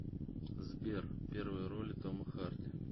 сбер первые роли тома харди